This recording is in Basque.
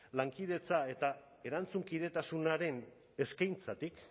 lankidetza eta erantzunkidetasunaren eskaintzatik